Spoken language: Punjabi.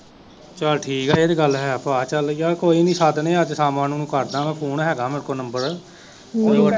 ਚਲ ਠੀਕ ਆ ਇਹ ਤਾ ਗੱਲ ਹੈ ਭਾ ਚਲ ਯਾਰ ਕੋਈ ਨਹੀਂ ਸੱਦਦੇ ਅੱਜ ਸ਼ਾਮਾਂ ਨੂੰ ਉਹਨਾਂ ਨੂੰ ਕਰਦਾ ਮੈ ਫੋਨ ਹੇਗਾ ਮੇਰੇ ਕੋ ਨੰਬਰ